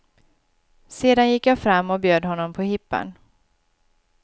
Sedan gick jag fram och bjöd honom på hippan.